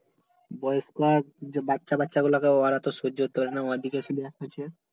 বয়স্ক আর বাচ্চা বাচ্চা গুলা ওরা তো সহ্য করতে পারে না হচ্ছে